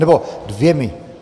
Nebo dvěma.